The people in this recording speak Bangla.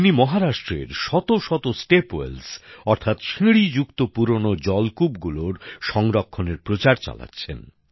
তিনি মহারাষ্ট্রের শত শত স্টেপওয়েলস অর্থাৎ সিঁড়ি যুক্ত পুরনো জলুকুপগুলির সংরক্ষণের প্রচার চালাচ্ছেন